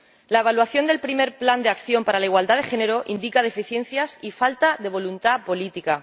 La evaluación del primer Plan de Acción sobre igualdad de género indica deficiencias y falta de voluntad política.